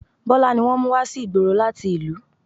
Bọlá ni wọ́n mú wá sí ìgboro láti ìlú